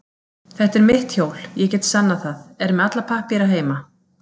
Þetta er mitt hjól, ég get sannað það, er með alla pappíra heima.